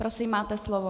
Prosím, máte slovo .